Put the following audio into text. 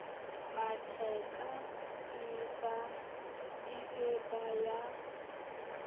matheka e be ba ya